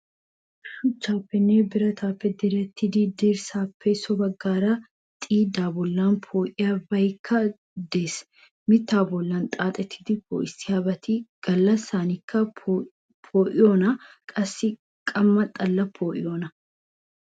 Shuchchaaninne biratan direttida dirssaappe so baggaara xiiddaa boollan poo"iyaabaykka de'ees. Mittaa bollan xaaxidi poo"issiyoobati gallassankka poo"iyoonaayye qassikka qamma xallan poo"iyoona?